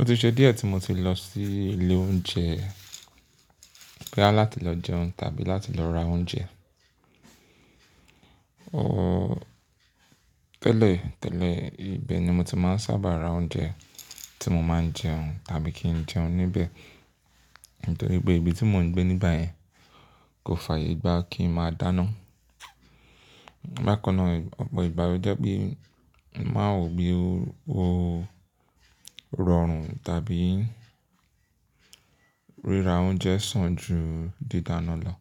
Ó ti ṣe díẹ̀ tí mo ti lọ sí ilé oúnjẹ, boya láti lọ jẹun tàbí láti lọ ra oúnjẹ. Ooo tẹ́lẹ̀ tẹ́lẹ̀, ibẹ̀ ni mo ti máa ń sábà ra oúnjẹ tí mo máa ń jẹun tàbí kí n jẹun níbẹ̀. Nítorí pé ibi tí mò ń gbé nígbà yẹn kò fààyè gbá kí n máa dáná. Bákan náà, ọ̀pọ̀ ìgbá lo jẹ́ pé mo máa nwò bí ó rọrùn tàbí ríra oúnjẹ sàn ju dídáná lọ.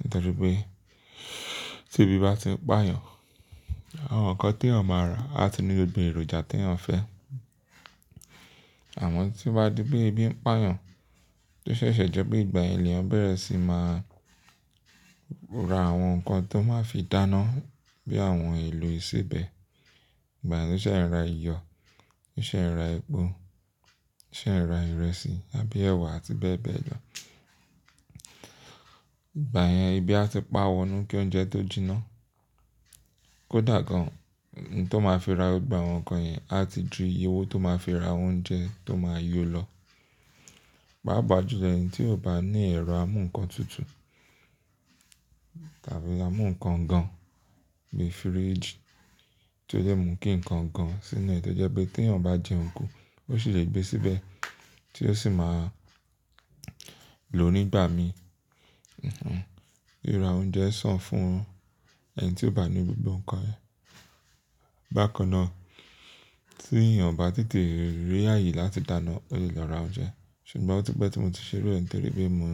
Nítorí pé tí ebi bá ti ń pà yàn, àwọn nǹkan tí eeyan máa ra á ti ní gbogbo èròjà tí eeyan fẹ́. Àmọ́ tí ó bá di pé ebi ń pà yàn, tó ṣẹ̀ṣẹ̀ jẹ́ pé ìgbà lèeyàn bẹ̀rẹ̀ sí máa ra àwọn nǹkan tó máa fi dáná bí àwọn èlò ìsebẹ̀. Ìgbà yen ló ṣẹ̀ ń ra iyọ̀, ló ṣẹ̀ ń ra epo, lo ṣẹ̀ ń ra ìrẹsì tàbí ẹ̀wà àti bẹ́ẹ̀ bẹ́ẹ̀ lọ. Ìgbà yẹn ebi á ti pà wọnú kí oúnjẹ tó jinná. Kódà gan-an, iye tó máa fi ra gbà àwọn nǹkan yẹn á ti ju iye owó tó máa fi ra oúnjẹ tó máa yó lọ. Páapà jú lọ ẹni tí ò bá ní ẹ̀rọ amú nǹkan tútù tàbí amú nǹkan gan-an bí fíríjì tí ó le mú kí nǹkan gan-an sínú ẹ. Tí ó jẹ́ pé tí eeyan bá jẹun kú, ó sì lè gbé síbẹ̀ tí ó sì máa lò nígbà mí. Hmh, ríra oúnjẹ sàn fún ẹni tí ò bá ní gbogbo nǹkan yẹn. Bákan náà, tí èeyàn o bá tètè rí ààyè láti dáná, ó lè lọ ra oúnjẹ. Ṣùgbọ́n ó ti pẹ́ tí mo ti ṣe iru é, nítorí pé mò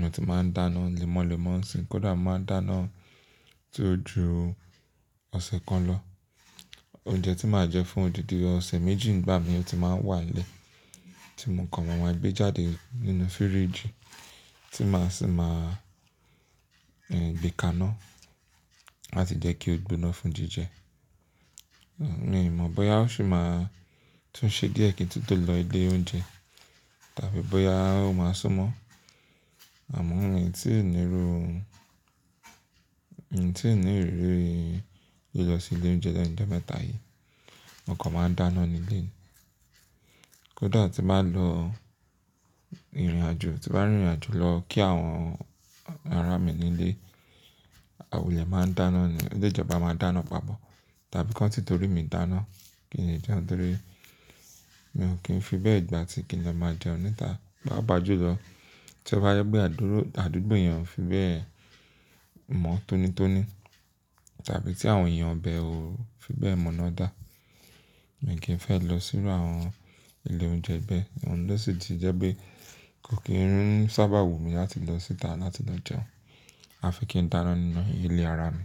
ń ti máa ń dáná lémọ́lémọ́ ǹsìnyin. Kódà mo máa ń dáná ti ó ju ọ̀sẹ̀ kan lọ. Oúnjẹ tí màá jẹ fún òdìdi ọ̀sẹ̀ méjì nígbà mí ó ti máa ń wà nílé. Tí mò ń kan ma maa gbẹ́ jáde nínú fíríjì tí màá sì máa gbé ká ná láti jẹ́ kí ó gbóná fún jíjẹ. Mii mọ̀ bóyá ó ṣì máa tún ṣe díẹ̀ kí n tun to lọ ilé oúnjẹ tàbí bóyá ó máa súnmọ́. Àmọ́ mi o tí ní ìru, tí ní ìrírí lílọ sí ilé oúnjẹ lẹ́nu ọjọ́ mẹ́ta yìí, mo kan máa ń dáná nílé mi. Kódà tí n baà lọ ìrìnàjò, tí n bàá rìn ìrìnàjò lọ kí àwọn ará mi nílé, àwon eniyan máa ń dáná ni. O lẹ jẹ́ pe boya a máa dáná papọ̀ tàbí ki won tí torí mi dáná kí n lè jẹun, torí mi ò kí ń fi bẹ́ẹ̀ gbà tí kí n lọ máa jẹun níta. Páapà jú lọ, tí ó bá jẹ pé aduro-àdúgbò yen ò fi bẹ́ẹ̀ mọ̀ tónítóní tàbí tí àwọn èèyàn ibẹ ò fi bẹ́ẹ̀ mọ̀ná dá, mi kì í fẹ́ lọ sírú àwọn ilé oúnjẹ bẹ. Òun ló sì ti jẹ́ pé kò kí ń sáábà wù mí láti lọ síta láti lọ jẹun. A fi kí n dáná nínú ilé ara mi.